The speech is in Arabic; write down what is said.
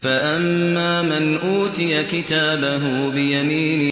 فَأَمَّا مَنْ أُوتِيَ كِتَابَهُ بِيَمِينِهِ